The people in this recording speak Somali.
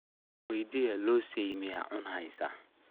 Ankuweydiyex, loosay miyad cuneysa.